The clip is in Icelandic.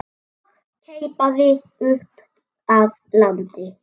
og keipaði upp að landi.